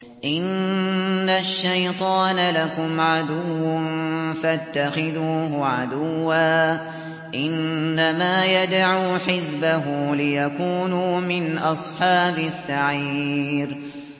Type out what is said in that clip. إِنَّ الشَّيْطَانَ لَكُمْ عَدُوٌّ فَاتَّخِذُوهُ عَدُوًّا ۚ إِنَّمَا يَدْعُو حِزْبَهُ لِيَكُونُوا مِنْ أَصْحَابِ السَّعِيرِ